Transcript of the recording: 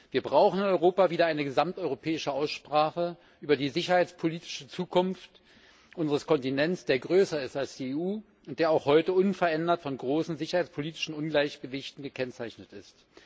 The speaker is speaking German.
Wir brauchen in Europa wieder eine gesamteuropäische Aussprache über die sicherheitspolitische Zukunft unseres Kontinents, der größer ist als die EU und der auch heute unverändert von großen sicherheitspolitischen Ungleichgewichten gekennzeichnet ist.